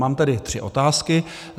Mám tady tři otázky.